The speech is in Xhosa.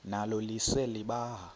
nalo lise libaha